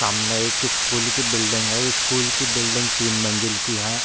सामने एक स्कूल की बिल्डिंग है स्कूल की बिल्डिंग तीन मंजिल की है।